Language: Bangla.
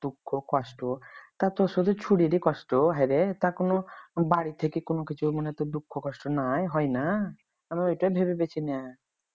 দুঃখ কষ্ট তা শুধু ছুরিরে কষ্ট হায়রে তা কোন বাড়ি থেকে কোন কিছু দুঃখ কষ্ট নাই হয় না। আমি ওইটাই ভেবে পেয়েছি না